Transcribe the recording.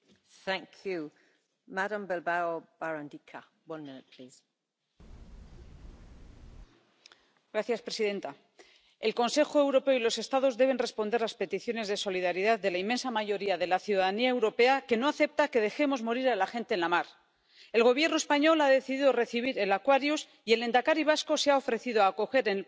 Señora presidenta, el Consejo Europeo y los Estados deben responder a las peticiones de solidaridad de la inmensa mayoría de la ciudadanía europea, que no acepta que dejemos morir a la gente en la mar. El Gobierno español ha decidido recibir al Aquarius, y el lehendakari vasco se ha ofrecido a acoger en el País Vasco al 10 de esas personas por dignidad y respeto a los derechos fundamentales. Euskadi es un país pequeño.